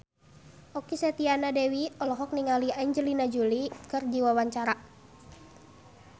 Okky Setiana Dewi olohok ningali Angelina Jolie keur diwawancara